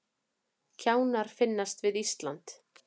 Kjánar finnast við Ísland